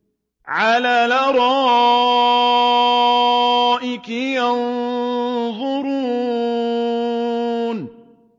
عَلَى الْأَرَائِكِ يَنظُرُونَ